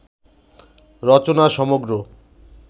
রচনা সমগ্র